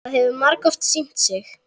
Það hefur margoft sýnt sig.